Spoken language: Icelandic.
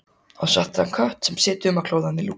Á svartan kött sem situr um að klóra hana í lúkurnar.